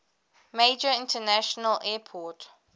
major international airport